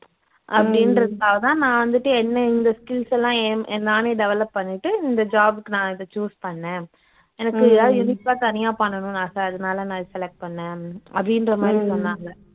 அப்படின்றதுக்காக தான் வந்துட்டு என்ன இந்த skills லாம் எம் எ நானே develop பண்ணிட்டு இந்த job க்கு நான் இத choose பண்ணேன் தனியா பண்ணணுன்னு ஆசை அதனால் நான் இத select பண்ணேன் அப்படின்ற மாதிரி சொன்னாங்க